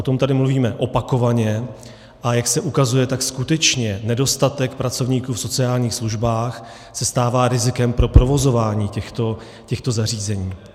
O tom tady mluvíme opakovaně, a jak se ukazuje, tak skutečně nedostatek pracovníků v sociálních službách se stává rizikem pro provozování těchto zařízení.